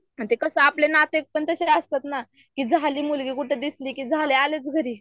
म ते कसे आपले नाते पण तसे असतात ना की झाली मुलगी कुठं दिसली की झाले आलेच घरी.